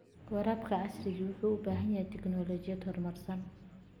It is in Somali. Waraabka casriga ahi wuxuu u baahan yahay tignoolajiyad horumarsan.